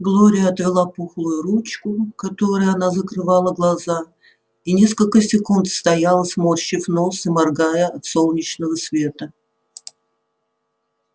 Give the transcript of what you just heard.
глория отвела пухлую ручку которой она закрывала глаза и несколько секунд стояла сморщив нос и моргая от солнечного света